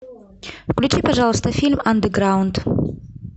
включи пожалуйста фильм андеграунд